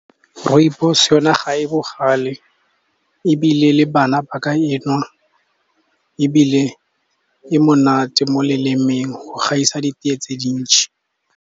Rooibos yona ga e bogale ebile le bana ba ka e nwa, ebile e monate mo lelemeng go gaisa ditee tse dintsi.